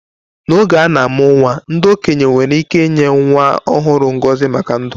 N’oge a na-amụ nwa, ndị okenye nwere ike inye nwa ọhụrụ ngọzi maka ndụ.